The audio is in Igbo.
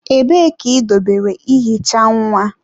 Ebee ka idobere ihicha nwa?